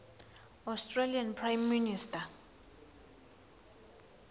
australian prime minister